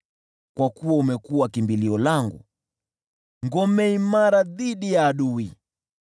Kwa kuwa umekuwa kimbilio langu, ngome imara dhidi ya adui.